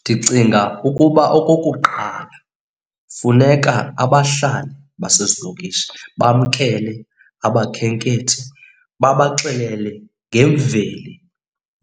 Ndicinga ukuba okokuqala funeka abahlali basezilokishi bamkele abakhenkethi babaxelele ngemveli